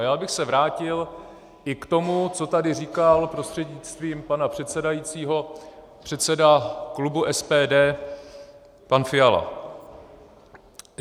A já bych se vrátil i k tomu, co tady říkal prostřednictvím pana předsedajícího předseda klubu SPD pan Fiala.